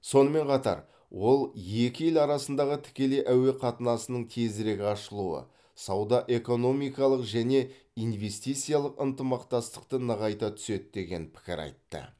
сонымен қатар ол екі ел арасындағы тікелей әуе қатынасының тезірек ашылуы сауда экономикалық және инвестициялық ынтымақтастықты нығайта түседі деген пікір айтты